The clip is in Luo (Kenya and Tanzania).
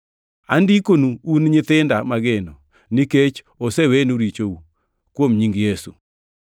Andikonu un nyithinda mageno nikech osewenu richou, kuom nying Yesu.